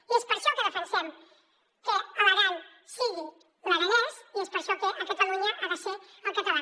i és per això que defensem que a l’aran sigui l’aranès i és per això que a catalunya ha de ser el català